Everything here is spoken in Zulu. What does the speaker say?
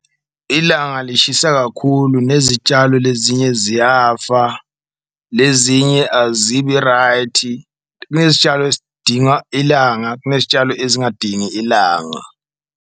Ilanga lishisa kakhulu nezitshalo lezinye ziyafa lezinye azibi-right, kunezitshalo ezidinga ilanga, kunezitshalo ezingadingi ilanga.